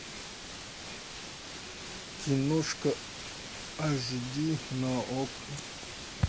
киношка аш ди на окко